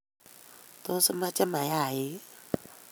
Tos, imache mayaik?